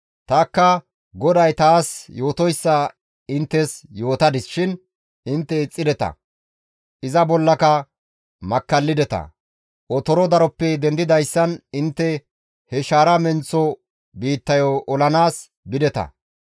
Tanikka GODAY taas yootoyssa inttes yootadis shin intte ixxideta. Iza bollaka makkallideta; otoro daroppe dendidayssan intte he shaara menththo biittayo olanaas bideta.